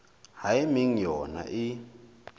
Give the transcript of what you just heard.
ha e meng yona e